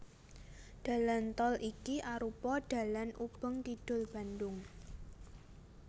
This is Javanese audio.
Dalan tol iki arupa dalan ubeng kidul Bandhung